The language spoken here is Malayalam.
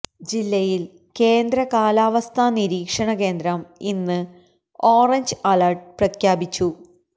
ജില്ലയിൽ കേന്ദ്ര കാലവസ്ഥാ നിരീക്ഷണ കേന്ദ്രം ഇന്ന് ഓറഞ്ച് അലേർട്ട് പ്രഖ്യാപിച്ചു